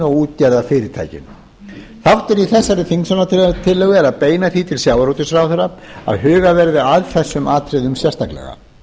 og útgerðarfyrirtækin þáttur í þessari þingsályktunartillögu er að beina því til sjávarútvegsráðherra að hugað verði að þessum atriðum sérstaklega